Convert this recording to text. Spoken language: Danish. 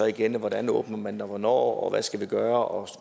igen hvordan åbner man det og hvornår hvad skal vi gøre og